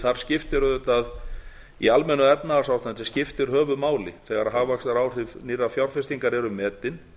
þar skiptir auðvitað í almennu efnahagsástandi skiptir höfuðmáli þegar hagvaxtaráhrif nýrrar fjárfestingar eru metin